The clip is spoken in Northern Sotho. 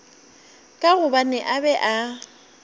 ka gobane a be a